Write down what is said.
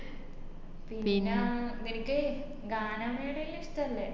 പിന്നാ നിനക്ക് ഗാനമേളല്ലോ ഇഷ്ട്ടല്ലേ